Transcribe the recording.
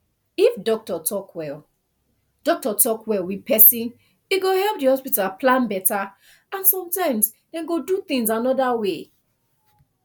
if doctor talk well doctor talk well with person e go help the hospital plan better and sometimes dem go do things another way